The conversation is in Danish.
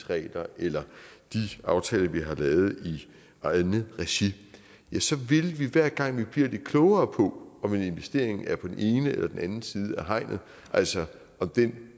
regler eller de aftaler vi har lavet i eget regi så vil vi hver gang vi bliver lidt klogere på om en investering er på den ene eller den anden side af hegnet altså om den